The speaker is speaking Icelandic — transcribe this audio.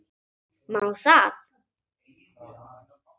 Má það?